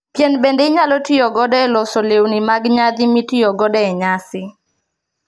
Pien bende inyalo tiyo godo e loso lewni mag nyadhi mitiyo godo e nyasi